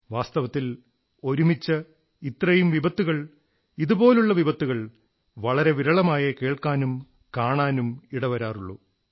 വാസ്തവത്തിൽ ഒരുമിച്ച് ഇത്രയും വിപത്തുകൾ ഇതുപോലുള്ള വിപത്തുകൾ വളരെ വിരളമായേ കേൾക്കാനും കാണാനും ഇടവരാറുള്ളൂ